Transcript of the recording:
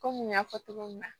Komi n y'a fɔ cogo min na